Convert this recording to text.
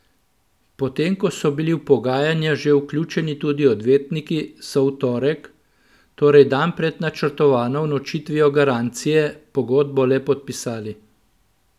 Potem ko so bili v pogajanja že vključeni tudi odvetniki, so v torek, torej dan pred načrtovano unovčitvijo garancije, pogodbo le podpisali.